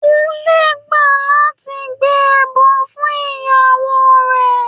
Kúnlé gbà láti gbé ẹbọ fún ìyàwó rẹ̀.